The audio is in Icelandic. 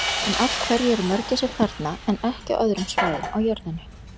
En af hverju eru mörgæsir þarna en ekki á öðrum svæðum á jörðinni?